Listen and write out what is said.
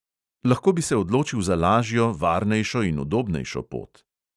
Lahko bi se odločil za lažjo, varnejšo in udobnejšo pot.